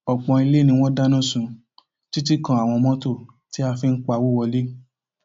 ọpọ ilé ni wọn dáná sun títí kan àwọn mọtò tí a fi ń pawọ wọlé